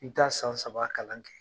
N Bɛ taa san saba kalan kɛ